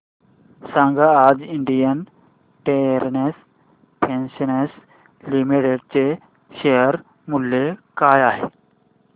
सांगा आज Indian Terrain Fashions Limited चे शेअर मूल्य काय आहे